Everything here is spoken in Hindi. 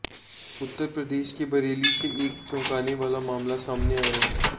उत्तर प्रदेश के बरेली से एक चौंकाने वाला मामला सामने आया है